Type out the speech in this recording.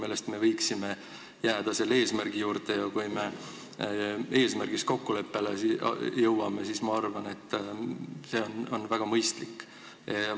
Aga me võiksime minu meelest jääda selle eesmärgi juurde ja kui me eesmärgis kokkuleppele jõuame, siis on see, ma arvan, väga mõistlik.